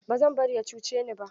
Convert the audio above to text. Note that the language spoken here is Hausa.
Ba zan bari ya cuce ni ba.